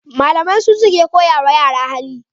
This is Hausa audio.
Malamai su suke koya ma yara hali